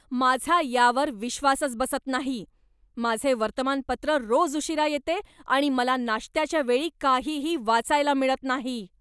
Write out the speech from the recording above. माझा यावर विश्वासच बसत नाही! माझे वर्तमानपत्र रोज उशिरा येते आणि मला नाश्त्याच्या वेळी काहीही वाचायला मिळत नाही.